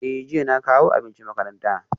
Eh jiya na kawo abinci makaranta